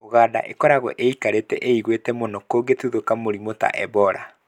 ũganda ĩkoragwo ĩikarĩte ĩiguĩte mũno kũgĩtuthũka mĩrimũ ta Ebola.